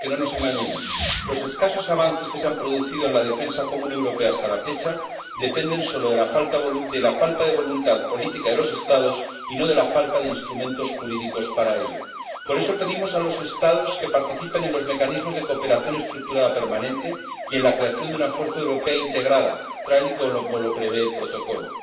Porque —no nos engañemos— los escasos avances que se han producido en la defensa común europea hasta la fecha dependen solo de la falta de voluntad política de los Estados y no de la falta de instrumentos jurídicos. Por eso pedimos a los Estados que participen en los mecanismos de cooperación estructurada permanente y en la creación de una fuerza europea integrada, tal y como lo prevé el Protocolo.